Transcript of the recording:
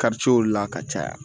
la ka caya